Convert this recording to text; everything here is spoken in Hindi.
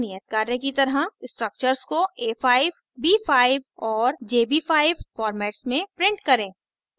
एक नियत कार्य की तरह structures को a5 a5 और jb5 formats में print करें